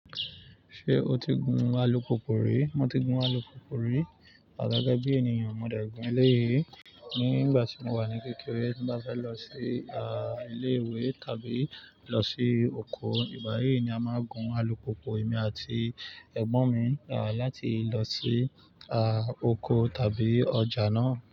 Ṣé o ti gun alùpùpù rí? Mo ti gun alùpùpù rí, àgágá bí ènìyàn. Mo dé gùn éléyì. Ní ìgbà tí mo wà ní kékeré, bí m bá tí fẹ́ lọ sí, ilé ìwé tàbí lọ sí ókò, ìgbà yí ni a máa gùn alùpùpù èmi àti ẹ̀gbọ́n mi, láti lọ sí ókò tàbí ọjà náà.